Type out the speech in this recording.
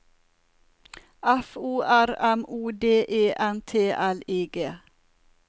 F O R M O D E N T L I G